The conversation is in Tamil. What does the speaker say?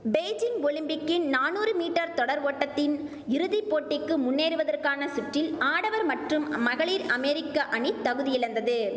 பெய்ஜிங் ஒலிம்பிக்கின் நானூறு மீட்டர் தொடர் ஓட்டத்தின் இறுதி போட்டிக்கு முன்னேறுவதற்கான சுற்றில் ஆடவர் மற்றும் மகளிர் அமெரிக்க அணி தகுதியிழந்தது